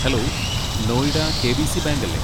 Hello, Noida KBC. Bank അല്ലെ?